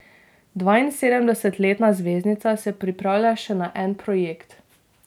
Dvainsedemdesetletna zvezdnica se pripravlja še na en projekt.